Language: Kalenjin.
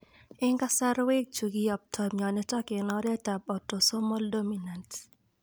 En kasarwek chu kiyoptoi myonitok en oret ab autosomal dominant